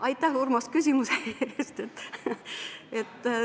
Aitäh, Urmas, küsimuse eest!